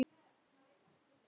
Er þetta handa mér?!